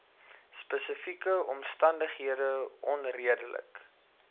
spesifieke omstandighede onredelik